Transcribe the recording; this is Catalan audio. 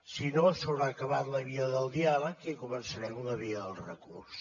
si no s’haurà acabat la via del diàleg i començarem la via del recurs